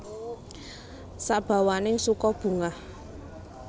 Sabawaning suka bungah